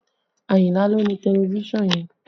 Ayinla ló ni tẹlifísàn yẹn